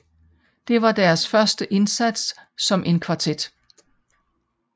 Det var deres første indsats som en kvartet